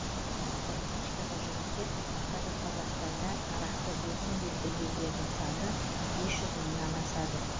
статистикаға жүгінсек қазір қазақстанда арақты досым деп білгендердің саны бес жүз мыңнан асады